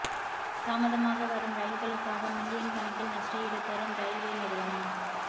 தாமதமாக வரும் ரயில்களுக்காக மில்லியன் கணக்கில் நஷ்ட ஈடு தரும் ரெயில்வே நிறுவனம்